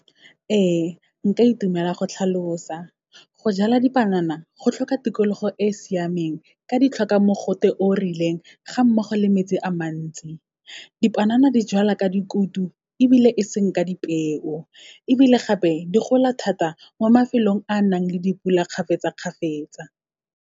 Ee, nka itumela go tlhalosa. Go jala dipanana, go tlhoka tikologo e siameng, ka di tlhoka mogote o rileng, ga mmogo le metsi a mantsi. Dipanana di jalwa ka dikutu, ebile e seng ka dipeo, ebile gape, di gola thata mo mafelong a nang le dipula kgafetsa-kgafetsa.